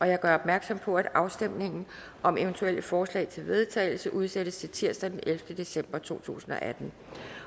jeg gør opmærksom på at afstemning om eventuelle forslag til vedtagelse udsættes til tirsdag den ellevte december to tusind og atten